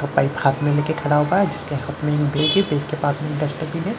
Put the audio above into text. का पाइप हाथ में लेके खड़ा होता है जिसके हाथ में एक बैग है बैग के पास में एक डस्टबिन है।